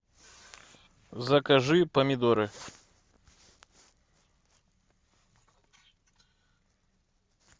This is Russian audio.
закажи помидоры